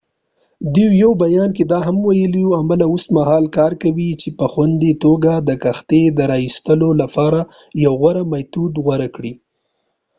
دوی په یوه بیان کې دا هم وویل عمله اوس مهال کار کوي چې په خوندي توګه د کښتۍ د راایستلو لپاره یو غوره میتود غوره کړي